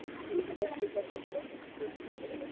Hjörtur Hjartarson: Ætlarðu ekki að kjósa Halldór hérna?